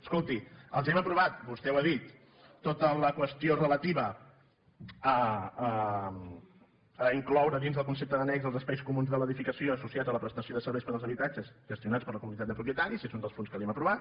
escolti els hem aprovat vostè ho ha dit tota la qüestió relativa a incloure dins del concepte d’annex els espais comuns de l’edificació associats a la prestació de ser·veis per als habitatges gestionats per la comunitat de propietaris és un dels punts que li hem aprovat